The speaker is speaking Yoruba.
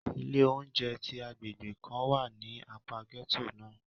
Ile ounjẹ ti agbegbe kan wa ni apa gẹto náa.